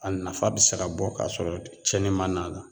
A nafa bɛ se ka bɔ ka sɔrɔ tiɲɛni ma n'a la